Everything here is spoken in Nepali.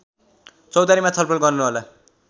चौतारीमा छलफल गर्नुहोला